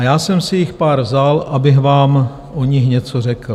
A já jsem si jich pár vzal, abych vám o nich něco řekl.